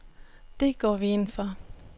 Det går vi ind for.